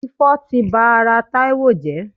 Ifo ti ba ara Taiwo jẹ.